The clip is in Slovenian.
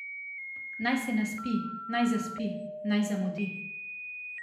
Naj se naspi, naj zaspi, naj zamudi.